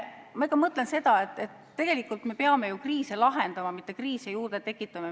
Ma ikka mõtlen seda, et tegelikult me peame ju kriise lahendama, mitte juurde tekitama.